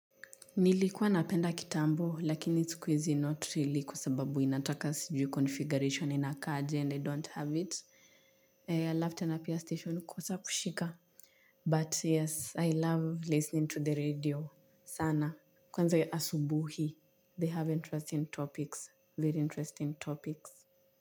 Nilikuwa napenda kitambo lakini siku hizi not really kwa sababu inataka sijui configuration inakaa aje and I don't have it I left and appear station kosa kushika. But yes I love listening to the radio sana. Kwanza asubuhi They have interesting topics very interesting topics.